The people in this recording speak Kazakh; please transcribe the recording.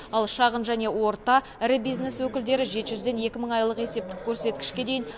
ал шағын және орта ірі бизнес өкілдері жеті жүзден екі мың айлық есептік көрсеткішке дейін